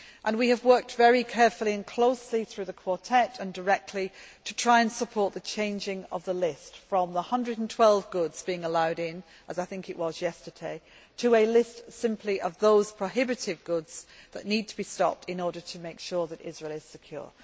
We have worked very carefully and closely, through the Quartet and directly, to try and support the changing of the list from the 112 goods being allowed in, as I think it was yesterday, to a list simply of those prohibited goods which need to be stopped in order to make sure that Israel is secure.